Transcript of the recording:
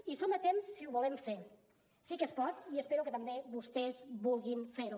hi som a temps si ho volem fer sí que es pot i espero que també vostès vulguin fer ho